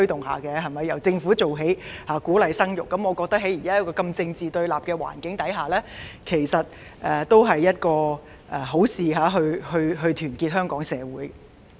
我認為，在現時如此政治對立的環境下，由政府牽頭做起，鼓勵生育，其實也是好事，有助團結香港社會。